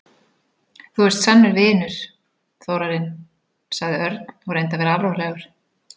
Þú ert sannur vinur, Þórarinn sagði Örn og reyndi að vera alvarlegur.